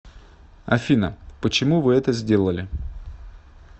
афина почему вы это сделали